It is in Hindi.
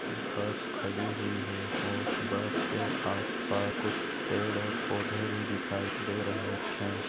बस खड़ी हुई है और बसके आसपास कुछ पेड और पौधे भी दिखाई दे रहे है।